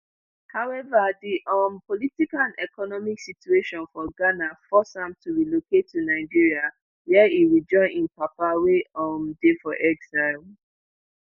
however di um political and economic situation for ghana force am to relocate to nigeria wia e rejoin im papa wey um dey for exile